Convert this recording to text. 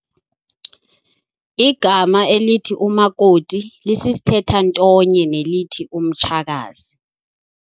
Igama elithi umakoti lisisithethantonye nelithi umtshakazi.